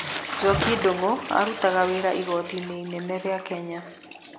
Njoki Ndungu arutaga wĩra igoti-inĩ inene rĩa Kenya.